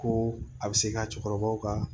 Ko a bɛ se ka cɛkɔrɔbaw ka